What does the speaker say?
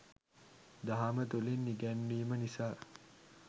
දහම තුළින් ඉගැන්වීම නිසා